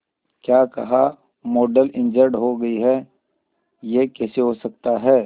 क्या कहा model injured हो गई है यह कैसे हो सकता है